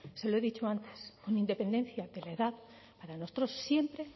se lo he dicho antes con independencia de la edad para nuestros siempre